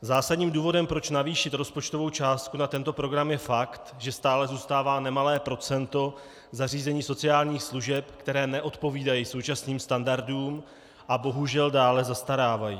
Zásadním důvodem, proč navýšit rozpočtovou částku na tento program, je fakt, že stále zůstává nemalé procento zařízení sociálních služeb, které neodpovídají současným standardům a bohužel dále zastarávají.